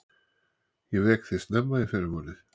Ég vek þig snemma í fyrramálið.